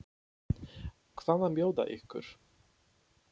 Hvað má bjóða ykkur?